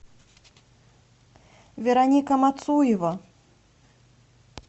вероника мацуева